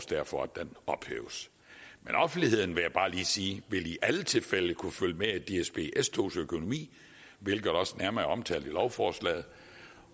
derfor at den ophæves men offentligheden vil jeg bare lige sige vil i alle tilfælde kunne følge med i dsb s togs økonomi hvilket også er nærmere omtalt i lovforslaget